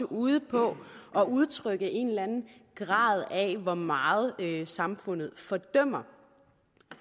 ude på at udtrykke en eller anden grad af hvor meget samfundet fordømmer